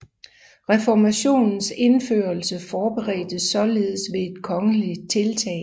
Reformationens indførelse forberedtes således ved et kongeligt tiltag